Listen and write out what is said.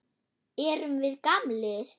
Erum við gamlir?